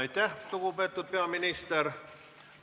Aitäh, lugupeetud peaminister!